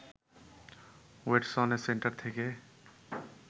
ওয়েডসনের centre থেকে